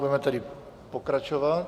Budeme tedy pokračovat.